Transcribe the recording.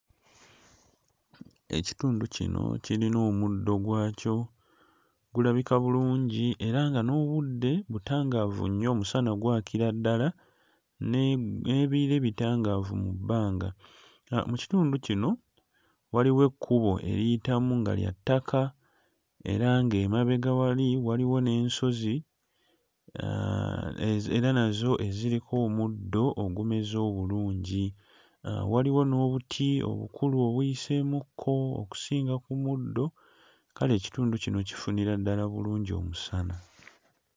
Ekitundu kino kirina omuddo gwakyo, gulabika bulungi era nga n'obudde butangaavu nnyo; omusana gwakira ddala ne... n'ebire bitangaavu mu bbanga. Mu kitindu kino waliwo ekkubo eriyitamu nga lya ttaka era ng'emabega wali waliwo n'ensozi era nazo eziriko omuddo ogumeze obulungi, waliwo n'obuti obukulu obuyiseemukko okusinga ku muddo, kale ekitundu kino kifunira ddala bulungi omusana.